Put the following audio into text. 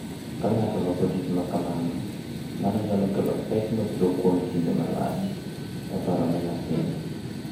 Ka ng’ato oloko tich ma kamano, mano nyalo kelo pek mabiro kuom kinde malach e paro ne nyathino,